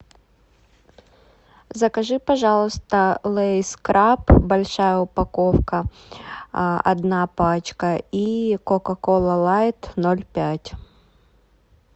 закажи пожалуйста лейс краб большая упаковка одна пачка и кока кола лайт ноль пять